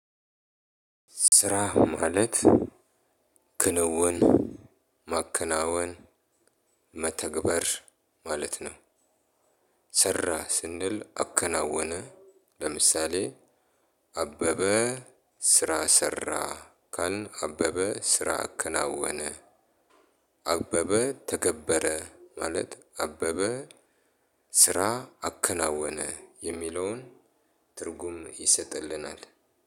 ስራ ማለት ክንውን፣ ማከናወን፣ መተግበር ማለት ነው። ሰራ ስንል አከናወነ ለምሳሌ አበበ ስራ ሰራ ካልን አበበ ስራ አከናወነ። አበበ ተገበረ ማለት አበበ ስራ አከናወነ የሚለውን ትርጉም ይሰጥልናል።